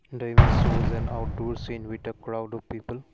the image shows an outdoor seen with crowd of people.